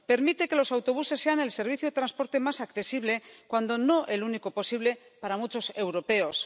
Permite que los autobuses sean el servicio de transporte más accesible, cuando no el único posible, para muchos europeos.